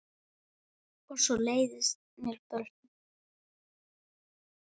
Og svo leiðast mér börn.